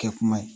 Kɛ kuma ye